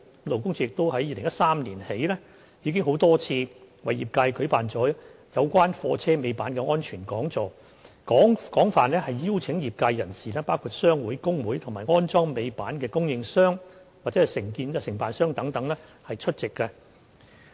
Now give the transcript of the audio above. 勞工處自2013年起已多次為業界舉辦有關貨車尾板的安全講座，廣邀業界人士包括商會、工會及安裝尾板的供應商或承辦商等出席。